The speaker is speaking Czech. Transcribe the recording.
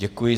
Děkuji.